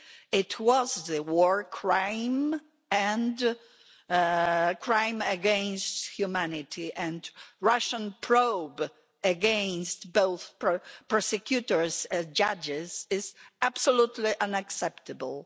It was a war crime and a crime against humanity and a Russian probe against both the prosecutors and the judges is absolutely unacceptable.